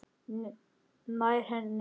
Nær henni aftur.